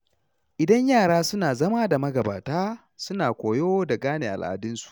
Idan yara suna zama da magabata, suna koyo da gane al'adunsu.